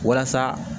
Walasa